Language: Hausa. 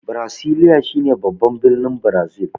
Brasilia shine babban birnin Brazil.